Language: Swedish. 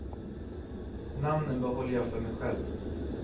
Namnen behåller jag för mig själv.